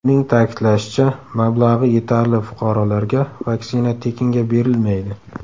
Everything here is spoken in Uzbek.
Uning ta’kidlashicha, mablag‘i yetarli fuqarolarga vaksina tekinga berilmaydi.